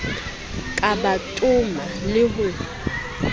ka ba toma le ho